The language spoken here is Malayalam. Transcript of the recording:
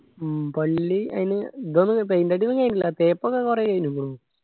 ഉം പള്ളി അയിന് എന്താണ് paint അടിയൊന്നും കഴിഞ്ഞില്ല തേപ്പൊക്കെ കൊറേ ക്ഴിണ് തോന്നു